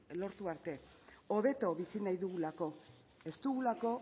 lortu arte hobeto bizi nahi dugulako ez dugulako